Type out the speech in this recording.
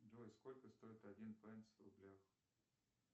джой сколько стоит один пенс в рублях